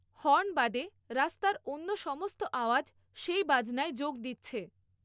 Horn বাদে রাস্তার অন্য সমস্ত আওয়াজ সেই বাজনায় যোগ দিচ্ছে।